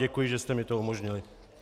Děkuji, že jste mi to umožnili.